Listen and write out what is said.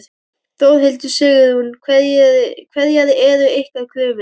Þórhildur: Sigrún, hverjar eru ykkar kröfur?